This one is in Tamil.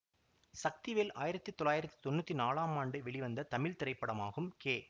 சக்திவேல் ஆயிரத்தி தொள்ளாயிரத்தி தொன்னூத்தி நாலாம் ஆண்டு வெளிவந்த தமிழ் திரைப்படமாகும் கே